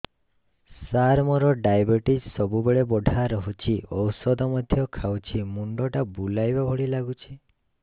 ସାର ମୋର ଡାଏବେଟିସ ସବୁବେଳ ବଢ଼ା ରହୁଛି ଔଷଧ ମଧ୍ୟ ଖାଉଛି ମୁଣ୍ଡ ଟା ବୁଲାଇବା ଭଳି ଲାଗୁଛି